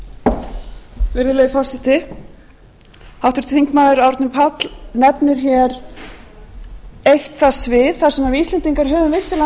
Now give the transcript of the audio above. þekkingu á sviði jarðvarma og höfum haft um árabil það er ekkert nýtt það skiptir hins vegar öllu máli á hvaða forsendum